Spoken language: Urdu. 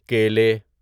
کیلے